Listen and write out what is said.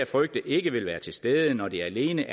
frygte ikke ville være til stede når det alene